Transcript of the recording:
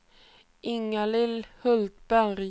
Inga-Lill Hultberg